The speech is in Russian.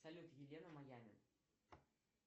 салют елена майами